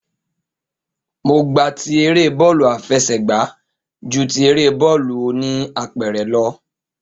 Mo gba ti eré bọ́ọ̀lù àfẹsẹ̀gba ju ti eré bọ́ọ̀lù oníapẹ̀rẹ̀ lọ